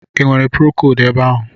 i nwere procodu ebe ahụ?